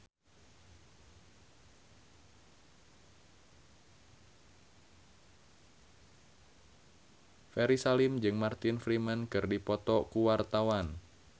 Ferry Salim jeung Martin Freeman keur dipoto ku wartawan